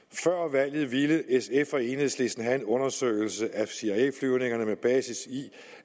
valget ville sf og enhedslisten have en undersøgelse af cia flyvningerne med basis i